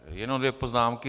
Jenom dvě poznámky.